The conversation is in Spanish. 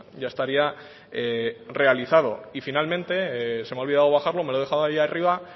ya estaría realizado y finalmente se me ha olvidado bajarlo me lo he dejado allí arriba